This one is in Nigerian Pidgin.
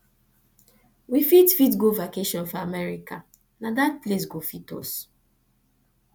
we fit fit go vacation for america na dat place go fit us